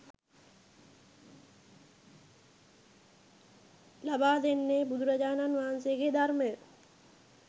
ලබා දෙන්නේ බුදුරජාණන් වහන්සේගේ ධර්මය